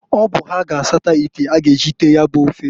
Ọ bụ ha ga asata ite a ga eji tee ya bu ofe.